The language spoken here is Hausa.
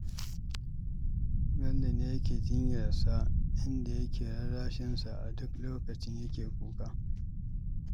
Bello ne yake jinyar sa, inda yake rarrashin sa a duk lokacin yake kuka.